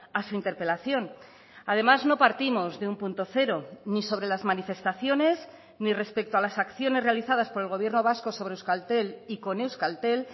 a su interpelación además no partimos de un punto cero ni sobre las manifestaciones ni respecto a las acciones realizadas por el gobierno vasco sobre euskaltel y con euskaltel